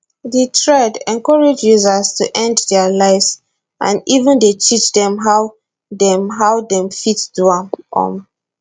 di thread encourage users to end dia lives and even dey teach dem how dem how dem fit do am um